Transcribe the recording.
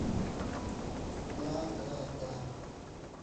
да да да